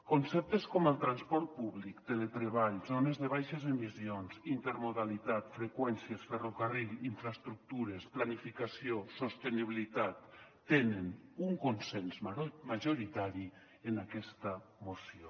conceptes com el transport públic teletreball zones de baixes emissions intermodalitat freqüències ferrocarril infraestructures planificació sostenibilitat tenen un consens majoritari en aquesta moció